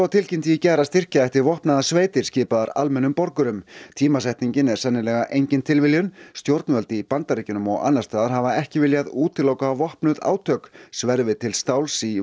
tilkynnti í gær að styrkja ætti vopnaðar sveitir skipaðar almennum borgurum tímasetningin er sennilega engin tilviljun stjórnvöld í Bandaríkjunum og annars staðar hafa ekki viljað útiloka vopnuð átök sverfi til stáls í